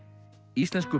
íslensku